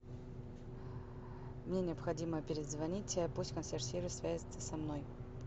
мне необходимо перезвонить пусть консьерж сервис свяжется со мной